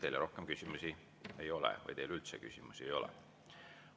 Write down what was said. Teile rohkem küsimusi ei ole või teile üldse küsimusi ei ole.